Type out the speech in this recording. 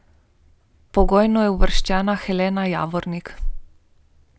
Pogojno je uvrščena Helena Javornik.